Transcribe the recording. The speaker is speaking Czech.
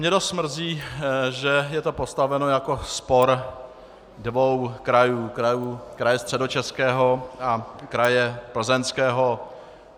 Mě dost mrzí, že je to postaveno jako spor dvou krajů, kraje Středočeského a kraje Plzeňského.